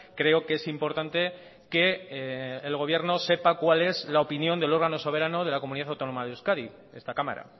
creo que es importante que el gobierno sepa cuál es la opinión del órgano soberano de la comunidad autónoma de euskadi esta cámara